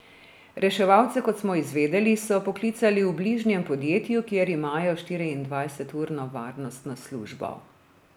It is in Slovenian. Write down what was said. Reševalce, kot smo izvedeli, so poklicali v bližnjem podjetju, kjer imajo štiriindvajseturno varnostno službo.